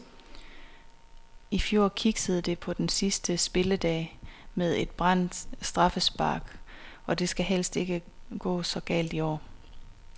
I fjor kiksede det på den sidste spilledag med et brændt straffespark, og det skal helst ikke gå så galt i år.